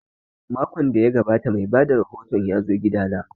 Makon da ya gabata mai bada rahoton ya zo gida na